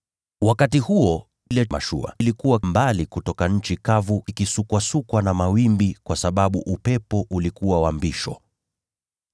Wakati huo ile mashua ilikuwa mbali kutoka nchi kavu ikisukwasukwa na mawimbi, kwa sababu upepo ulikuwa wa mbisho.